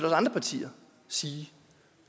andre partier sige